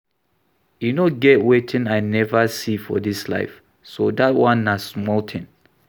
E no get wetin I never see for dis life so dat one na small thing